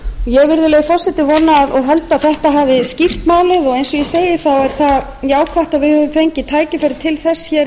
ég virðulegi forseti vona og held að þetta hafi skýrt málið og eins og ég segi þá er